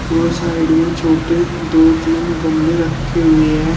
वो साइड में छोटे दो तीन गमले रखे हुए हैं।